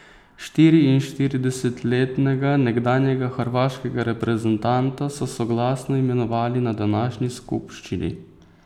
Štiriinštiridesetletnega nekdanjega hrvaškega reprezentanta so soglasno imenovali na današnji skupščini.